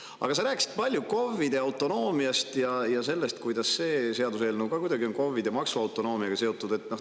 Aga sa rääkisid palju KOV‑ide autonoomiast ja sellest, kuidas see seaduseelnõu on ka kuidagi KOV‑ide maksuautonoomiaga seotud.